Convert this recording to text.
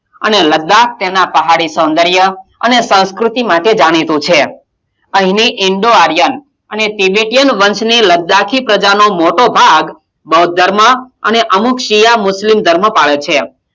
અને લદ્દાક તેનાં પહાડી સોંદર્ય અને સાંસ્કૃતિ માટે જાણીતું છે અહીની ઇન્ડોઆરિયમ અને ત્રિબેટીયન વર્ષ ની લદ્દાકી પ્રજાનો મોટો ભાગ બોદ્ધ ધર્મ અને અમુક સિયામ - મૂતયૂમ ધર્મ પાડે છે.